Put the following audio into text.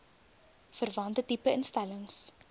verwante tipe instellings